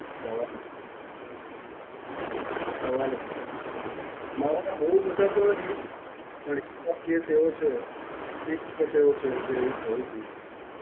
સવાલ જ નથી. હાં, સવાલ જ નથી. મારા માં બહું બધા તો નહીં, પણ એવા case એવો છે, એક case એવો છે જે એવું થયું તું.